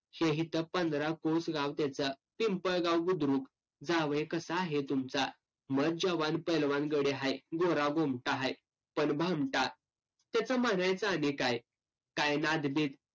पंधरा कोस गाव त्याचं. पिंपळगाव बुद्रुक. जावय कसं आहे तुमचा? मस्त जवान पैलवान गडी हाय. गोरागुमठा हाय. पण भामटा. त्याचं म्हणायचं आणि काय? काय नाद-बिद?